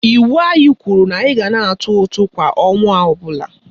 Iwu anyị kwuru na anyị ga na-atụ ụtụ kwa ọnwa ọbụla